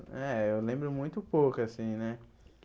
É, eu lembro muito pouco assim, né?